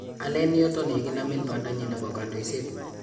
Aleen yoton yekinameen baandanyin nebo kandoiset